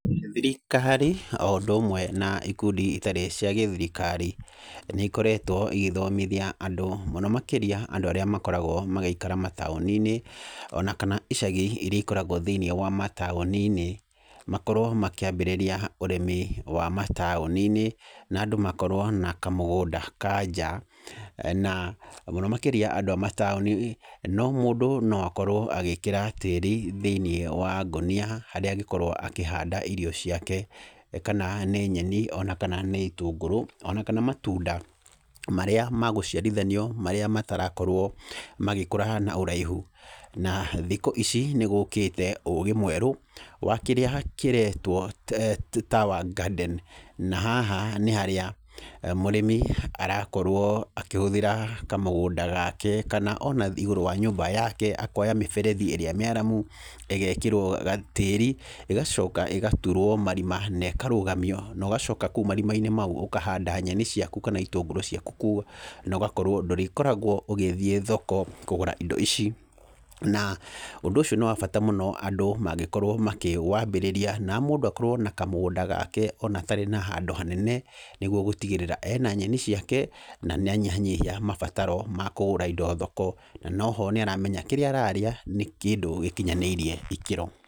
Thirikari o ũndũ ũmwe na ikundi itarĩ cia gĩthirikari, nĩ ikoretwo igĩthomithia andũ mũno makĩria andũ arĩa makoragwo magĩikara mataũni-inĩ, ona kana icagi iria ikoragwo thĩiniĩ wa mataũni-inĩ, makorwo makĩambĩrĩria ũrĩmi wa mataũni-inĩ na andũ makorwo na kamũgũnda ka nja. Na mũno makĩria andũ a mataũni no, mũndũ no akorwo agĩkĩra tĩri thĩiniĩ wa ngũnia harĩa angĩkorwo akĩhanda irio ciake kana nĩ nyeni, ona kana nĩ itũngũrũ ona kana matunda marĩa ma gũciarithanio marĩa matarakorwo magĩkũra na ũraihu. Na thikũ ici nĩgũkĩte ũgĩ mwerũ wa kĩrĩa kĩretwo tower garden. Na haha nĩ harĩa mũrĩmi arakorwo akĩhũthĩra kamũgũnda gake kana ona igũrũ wa nyũmba yake, akoya mĩberethi ĩrĩa mĩaramu, ĩgekĩrwo gatĩĩri, ĩgacoka ĩgatũrwo marima nekarũgamio, nogacoka kũu marima-inĩ mau ũkahanda nyeni ciaku kana itũngũrũ ciaku kuo no gakorwo ndũrĩkoragwo ũgĩthiĩ thoko kũgũra indo ici. Na ũndũ ũcio nĩ wa bata mũno andũ mangĩkorwo makĩwambĩrĩria na mũndũ akorwo na kamũgũnda gake ona atarĩ na handũ hanene, nĩgwo gũtigirĩra ena nyeni ciake na nĩa nyihanyihia mabataro ma kũgũra indo thoko, na noho nĩ aramenya kĩrĩa ararĩa nĩ kĩndũ gĩkinyanĩirie ikĩro.